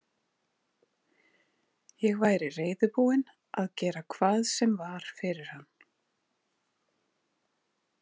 Ég væri reiðubúin að gera hvað sem var fyrir hann.